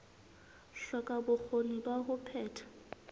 hloka bokgoni ba ho phetha